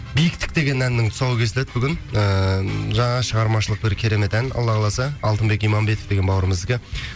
биіктік деген әннің тұсауы кесіледі бүгін ыыы жаңа шығармашылық бір керемет ән алла қаласа алтынбек иманбетов бауырымыздікі